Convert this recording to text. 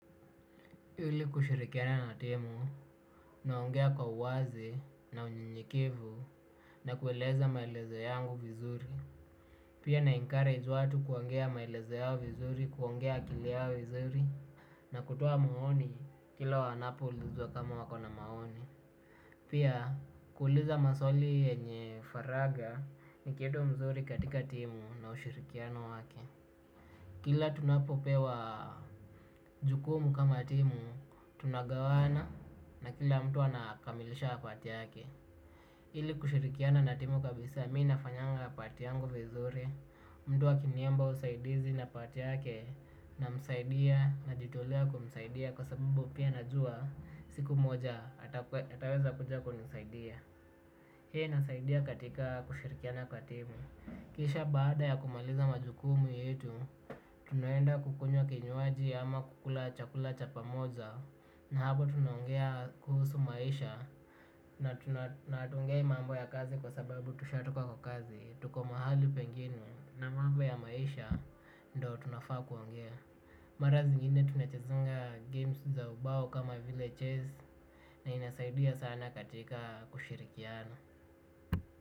Ili kushirikiana na timu, naongea kwa uwazi na unyenyekevu na kueleza maelezo yangu vizuri. Pia na encourage watu kuongea maelezo yao vizuri, kuongea akili yao vizuri, na kutoa maoni kila wanapo uizwa kama wako na maoni. Pia kuuliza maswali yenye faraga ni kitu mzuri katika timu na ushirikiano wake. Kila tunapopewa jukumu kama timu tunagawana na kila mtu anakamilisha part yake. Ili kushirikiana na timu kabisa mi nafanyanga part yangu vizuri. Mtu akiniomba usaidizi na part yake namsaidia najitolea kumsaidia. Kwa sababu pia najua siku moja ataweza kuja kunisaidia. Hiyo inasaidia katika kushirikiana kwa timu. Kisha baada ya kumaliza majukumu yetu, tunaenda kukunywa kinywaji ama kukula chakula cha pamoja na hapo tunaongea kuhusu maisha na hatuongei mambo ya kazi kwa sababu tushatoka kwa kazi. Tuko mahali pengine na mambo ya maisha ndo tunafaa kuongea. Mara zingine tunachezanga games za ubao kama Chess na inasaidia sana katika kushirikiana.